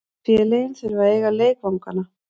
Félögin þurfa að eiga leikvangana.